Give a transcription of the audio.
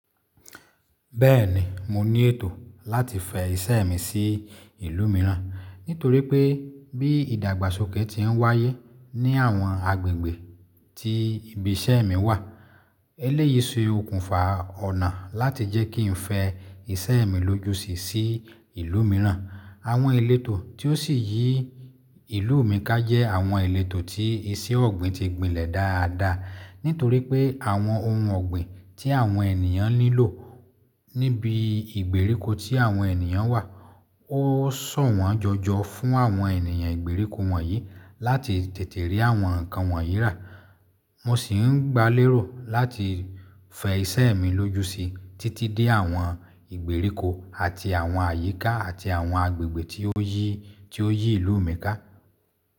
Bẹ́ẹ̀ni, mo ní ètò láti fẹ ìṣe mi sí ìlú mìíràn, nítorí pé bí ìdàgbàsókè ti ń wáyé ní àwọn agbègbè tí ibi iṣẹ́ mi wà, eléyìí se okùnfà ọ̀nà láti jẹ́ kí n fẹ ìṣe mi lóju sí sí ìlú mìíràn. Àwọn ìletò tí ó sì yí ìlú mi ká jẹ́ àwọn ìletò tí iṣẹ́ ọ̀gbìn ti gbinlẹ̀ dáadáa, nítorí pé àwọn ohun ọ̀gbìn tí àwọn ènìyàn nílò níbi ìgbèríko tí àwọn ènìyàn wà, ó sọ̀wọ́n jọjọ fún àwọn ènìyàn ìgbèríko wọ̀nyí láti tètè rí àwọn nǹkan wọn yí rà. Mo sì ń gbálérò láti fẹ ìṣe mi lóju sí títí dé àwọn ìgbèríko àti àwọn àyíká àti àwọn agbègbè tí ó yí, tí ó yí ìlú mi ká.